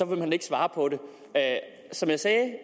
vil hun ikke svare på det som jeg sagde